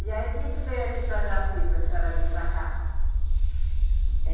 E aí quem que veio aqui para Jaci, para a senhora vir para cá?